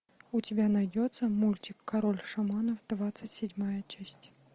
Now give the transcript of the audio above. у тебя найдется мультик король шаманов двадцать седьмая часть